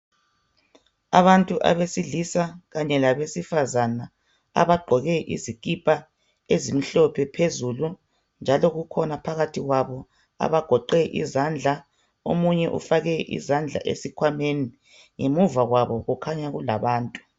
Abantu abesilisa kanye labesifazana abagqoke izikipa ezimhlophe phezulu njalo kukhona phakathi kwabo abagoqe izandla omunye ufake izandla esikhwameni, ngemuva kwabo kukhanya kulabantu